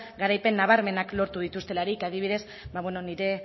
garaipen nabarmenak lortu dituztelarik adibidez nire